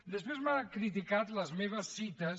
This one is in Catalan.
després m’ha criticat les meves cites